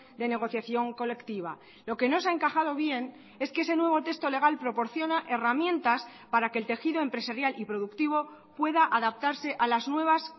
de negociación colectiva lo que no se ha encajado bien es que ese nuevo texto legal proporciona herramientas para que el tejido empresarial y productivo pueda adaptarse a las nuevas